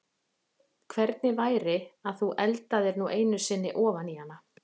Hvernig væri að þú eldaðir nú einu sinni ofan í hana?